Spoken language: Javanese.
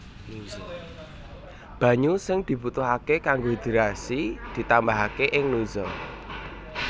Banyu sing dibutuhaké kanggo hidrasi ditambahaké ing nozzle